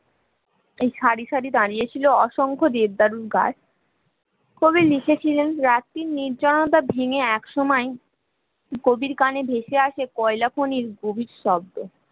খারি খারি দাঁড়িয়েছিল অসংখ্য দেবদারু গাছ কবি লিখেছিলেন রাত্রির নির্জনতা ভেঙে এক সময় গভীর কানে ভেসে আসে কয়লাখনির গভীর শব্দ